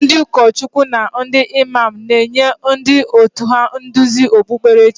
Ndị ụkọchukwu na ndị Imam na-enye ndị òtù ha nduzi okpukperechi.